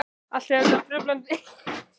Allt hefur þetta truflandi áhrif á efnahaginn.